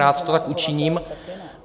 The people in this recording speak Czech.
Rád to tak učiním.